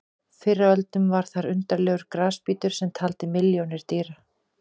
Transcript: Fyrr á öldum var þar undarlegur grasbítur sem taldi milljónir dýra.